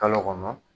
Kalo kɔnɔ